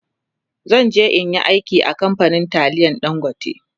zanje in Yi aiki a kamfanin taliyan dangote